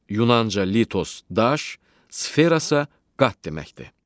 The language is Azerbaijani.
Yunanca litos daş, sferasa qat deməkdir.